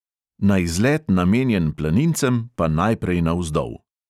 Na izlet, namenjen planincem, pa najprej navzdol!